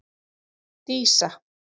Dísa